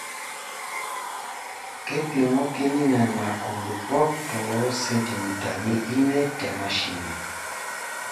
Keipomoki Nena kulupuok too sentimitani imiet te mashini.